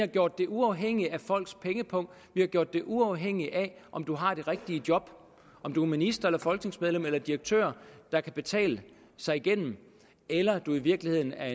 gjort det uafhængigt af folks pengepung vi har gjort det uafhængigt af om du har det rigtige job om du er minister folketingsmedlem eller direktør der kan betale sig igennem eller du i virkeligheden er